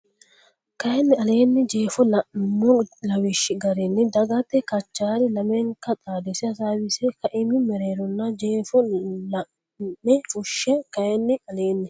kayinni aleenni Jeefo la nummo lawishshi garinni dhaggete Kachaari lamenka xaadise hasaawise kaima mereeronna jeefo la ine fushshe kayinni aleenni.